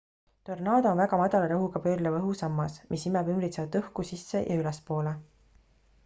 tornaado on väga madala rõhuga pöörleva õhu sammas mis imeb ümbritsevat õhku sisse ja ülespoole